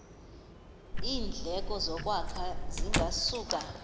iindleko zokwakha zingasuka